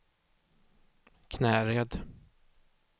Knäred